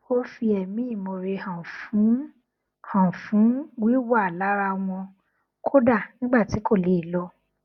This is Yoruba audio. ó fi ẹmí ìmoore hàn fún hàn fún wíwà lára wọn kódà nígbà tí kò lè lọ